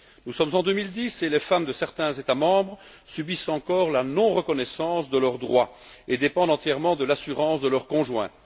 Nous sommes en 2010 et les femmes de certains États membres subissent encore la non reconnaissance de leurs droits et dépendent entièrement de l'assurance de leur conjoint.